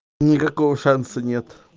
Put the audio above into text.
никакого шанса нет